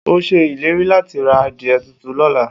O se ileri lati ra adie tutu lola.